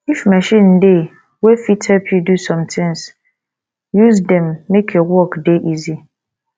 if machine dey wey fit help you do some things use dem make your work dey easy